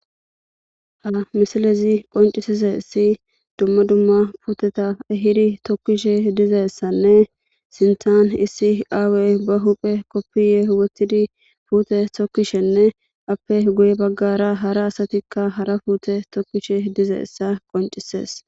Ha misilezi qoncisizaysi duma duma puuteta ehidi tokizaysanne sinthan issi aaway ba hu'en kopiye wothidi uttidinne puute tokishenne ape guybagara asay gaagge